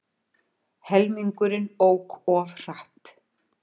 Helmingurinn ók of hratt